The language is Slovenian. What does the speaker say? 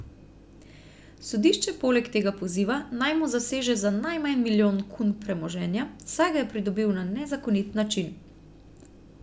Sodišče poleg tega poziva, naj mu zaseže za najmanj milijon kun premoženja, saj ga je pridobil na nezakonit način.